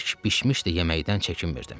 Bəlkə bişmişdi yeməkdən çəkinmirdim.